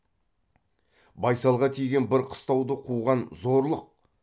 байсалға тиген бір қыстауды қуған зорлық